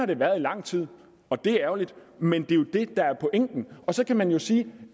det været i lang tid og det er ærgerligt men det er jo det der er pointen og så kan man jo sige